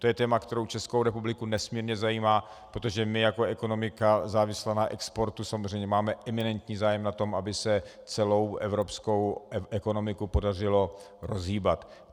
To je téma, které Českou republiku nesmírně zajímá, protože my jako ekonomika závislá na exportu samozřejmě máme eminentní zájem na tom, aby se celou evropskou ekonomiku podařilo rozhýbat.